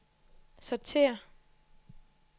sortér